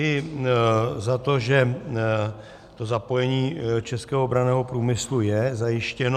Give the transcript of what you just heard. I za to, že to zapojení českého obranného průmyslu je zajištěno.